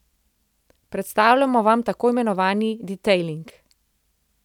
Predstavljamo vam tako imenovani detailing.